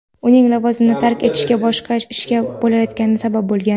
uning lavozimini tark etishiga boshqa ishga o‘tayotgani sabab bo‘lgan.